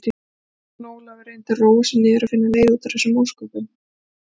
Jón Ólafur reyndi að róa sig niður og finna leið út úr þessum ósköpum.